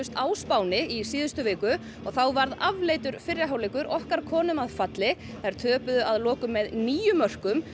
á Spáni í síðustu viku og þá varð afleitur fyrri hálfleikur okkar konum að falli þær töpuðu að lokum með níu mörkum